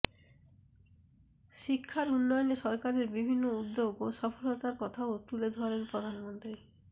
শিক্ষার উন্নয়নে সরকারের বিভিন্ন উদ্যোগ ও সফলতার কথাও তুলে ধরেন প্রধানমন্ত্রী